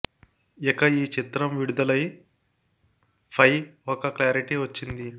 ఇక ఈ చిత్రం విడుదలై ఫై ఒక క్లారిటీ వచ్చింది